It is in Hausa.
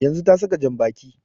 Yanzun ta saka jan baƙi